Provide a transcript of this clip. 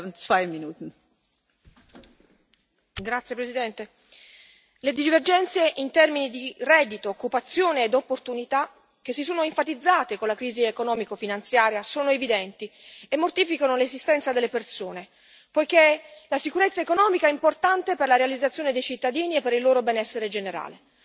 Signora Presidente, onorevoli colleghi, le divergenze in termini di reddito, occupazione e opportunità, che si sono enfatizzate con la crisi economico finanziaria, sono evidenti e mortificano l'esistenza delle persone, poiché la sicurezza economica è importante per la realizzazione dei cittadini e per il loro benessere generale.